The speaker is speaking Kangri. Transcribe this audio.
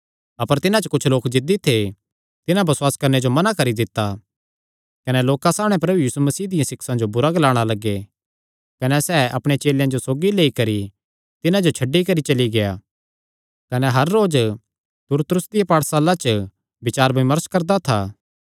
अपर तिन्हां च कुच्छ लोक जिद्दी थे तिन्हां बसुआस करणे जो मना करी दित्ता कने लोकां सामणै प्रभु यीशु मसीह दियां सिक्षां जो बुरा ग्लाणा लग्गे कने सैह़ अपणे चेलेयां जो सौगी लेई करी तिन्हां जो छड्डी करी चली गेआ कने हर रोज तुरत्रुस दिया पाठसाला च बचार विमर्श करदा था